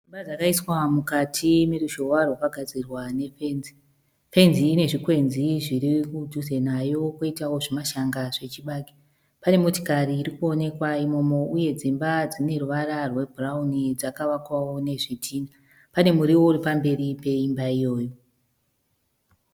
Dzimba dzakaiswa mukati meruzhowa rwakagadzirwa nefenzi. Fenzi inezvikwenzi zvirikudhuze nayo poitawo zvimashanga zvechibage. Pane motikari urikuonekwa imomo uye dzimba dzineruvara rwebhurauni dzakavakwawo nezvitinha. Pane muriwo uripamberi peimba iyoyo.